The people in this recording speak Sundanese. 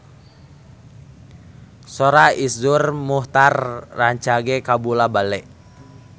Sora Iszur Muchtar rancage kabula-bale